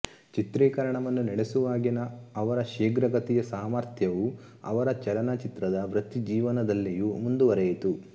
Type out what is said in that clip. ಚಿತ್ರೀಕರಣವನ್ನು ನಡೆಸುವಾಗಿನ ಅವರ ಶೀಘ್ರಗತಿಯ ಸಾಮರ್ಥ್ಯವು ಅವರ ಚಲನಚಿತ್ರದ ವೃತ್ತಿಜೀವನದಲ್ಲಿಯೂ ಮುಂದುವರೆಯಿತು